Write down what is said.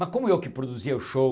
Mas como eu que produzia o show